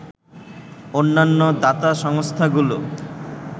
অন্যান্য দাতা সংস্থাগুলো